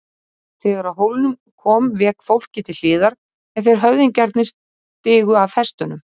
Þegar að hólnum kom vék fólkið til hliðar en þeir höfðingjarnir stigu af hestunum.